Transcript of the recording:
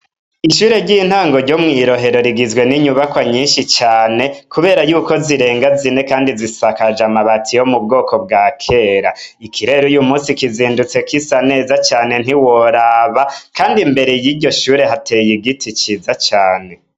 Ishure ry'intango ryo mw'irohero rigizwe n'inyubakwa nyinshi cane ,kubera yuko zirenga zine kandi zisakajwe n'amabati yo m'ubwoko bwa kera, ikirere uyumunsi kizindutse gisa neza cane ntiworaba ,kandi imbere yiryo shure hateye igiti ciza cane.